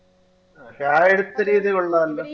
പക്ഷെ ആ എടുത്ത രീതി കൊള്ളാല്ലോ